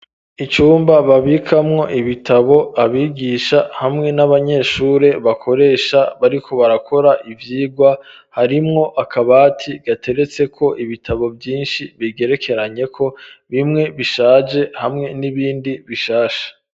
Icumba babikamwo ibitabo abigisha hamwe n'abanyeshuri bakoresha bariko barakora ivyigwa harimwo akabati gateretseko ibitabo vyinshi bigerekeranyeko bimwe bishaje hamwe n'ibindi bishasha.